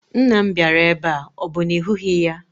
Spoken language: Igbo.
Nna m bịara ebe a, ọ bụ na ị hụghị ya?